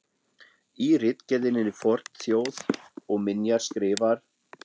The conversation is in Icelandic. Í ritgerðinni Fornþjóð og minjar skrifar